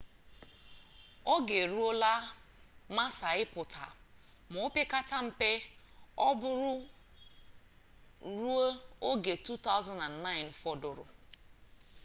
oge e ruola massa ịpụta ma opekata mpe ọ bụrụ ruo oge 2009 fọdụrụ